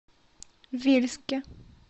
вельске